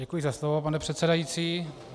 Děkuji za slovo, pane předsedající.